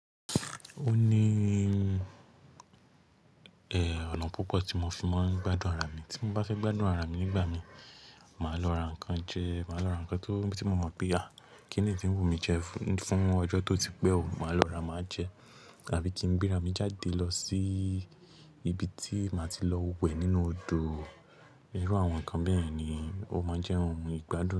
O ní, eeh, ọ̀nà púpọ̀ tí mo fi máa ń gbádùn ara mi. Tí mo bá fẹ́ gbádùn ara mi nígbà mi, màá lọ ra nǹkan jẹ, màá lọ ra nǹkan tó, tí mo mọ̀ pé, à, kí nì yi tí ń wù mí jẹ fún, fún ọjọ́ tó ti pẹ́ ò, màá lọ ra, màá jẹ. Tàbí tí ń gbéra mi jáde lọ sí ibi tí màá ti lọ wẹ̀ nínú odò. Irú àwọn nǹkan bẹ́yen ni ó máa ń jẹ́ ohun ìgbádùn.